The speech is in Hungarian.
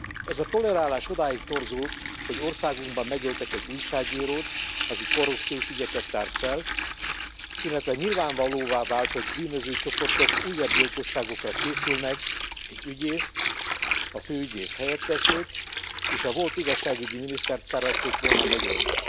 Ez a tolerálás odáig torzult, hogy országunkban megöltek egy újságírót, aki korrupciós ügyeket tárt fel, illetve nyilvánvalóvá vált, hogy bűnözői csoportok újabb gyilkosságokra készülnek egy ügyészt, a főügyész helyettesét és a volt igazságügyi minisztert szerették volna megölni.